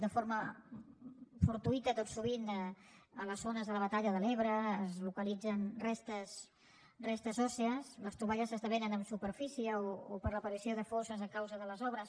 de forma fortuïta tot sovint a les zones de la batalla de l’ebre es localitzen restes òssies les troballes esdevenen en superfície o per l’aparició de fosses a causa de les obres